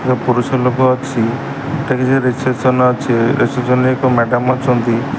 ଏ ପୁରୁଷ ଲୋକ ଅଛି ଠେ କିଛି ରେସେପ୍ସନ୍ ରେସେପ୍ସନ୍ ରେ ଏକ ମ୍ୟାଡାମ୍ ଅଛନ୍ତି।